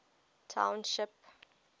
township